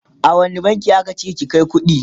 a wani bankin aka ce ki Kai kuɗi?